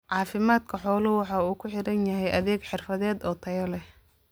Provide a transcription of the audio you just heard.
Caafimaadka xooluhu waxa uu ku xidhan yahay adeeg xirfadeed oo tayo leh.